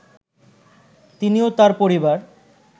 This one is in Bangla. তিনি ও তার পরিবার